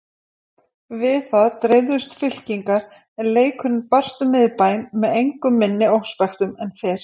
Við það dreifðust fylkingar en leikurinn barst um Miðbæinn með engu minni óspektum en fyrr.